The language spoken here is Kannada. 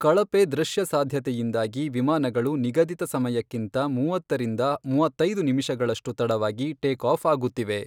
ಕಳಪೆ ದೃಶ್ಯಸಾಧ್ಯತೆಯಿಂದಾಗಿ ವಿಮಾನಗಳು ನಿಗದಿತ ಸಮಯಕ್ಕಿಂತ ಮೂವತ್ತರಿಂದ ಮೂವತ್ತೈದು ನಿಮಿಷಗಳಷ್ಟು ತಡವಾಗಿ ಟೇಕ್ ಆಫ್ ಆಗುತ್ತಿವೆ.